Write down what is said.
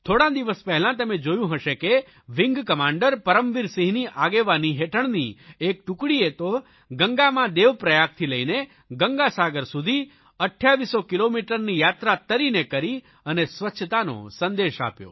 થોડા દિવસ પહેલા તમે જોયું હશે કે વિંગકમાન્ડર પરમવીરસિંહની આગેવાનની હેઠળ એક ટુકડીએ તો ગંગામાં દેવપ્રયાગથી લઇને ગંગાસાગર સુધી 2800 કિલોમીટરની યાત્રા તરીને કરી અને સ્વચ્છતાનો સંદેશ આપ્યો